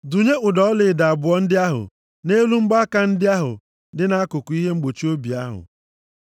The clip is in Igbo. Dụnye ụdọ ọlaedo abụọ ndị ahụ nʼelu mgbaaka ndị ahụ dị na nkuku ihe mgbochi obi ahụ,